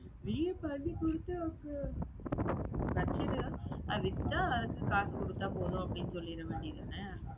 நீயே பண்ணி கொடுத்து அப்பறம். வச்சிடு. அது வித்தா, அதுக்கு காசு கொடுத்தா போதும், அப்படின்னு சொல்லிற வேண்டியதுதானே?